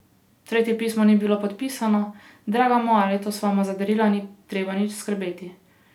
Tretje pismo ni bilo podpisano: "Draga moja, letos vama za darila ni treba nič skrbeti.